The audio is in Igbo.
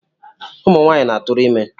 Ụmụnwanyị na-atụrụ ime